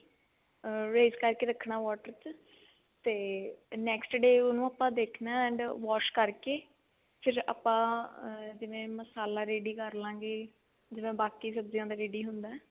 ਅਹ raise ਕਰਕੇ ਰੱਖਣਾ water ਚ ਤੇ next day ਉਹਨੂੰ ਆਪਾਂ ਦੇਖਣਾ ਤੇ wash ਕਰਕੇ ਫਿਰ ਆਪਾਂ ਜਿਵੇਂ ਮਸਾਲਾ ready ਕਰ ਲਵਾਂਗੇ ਜਿਵੇਂ ਬਾਕੀ ਸਬਜੀਆਂ ਦਾ ready ਹੁੰਦਾ